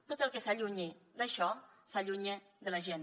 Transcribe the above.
tot el que s’allunyi d’això s’allunya de la gent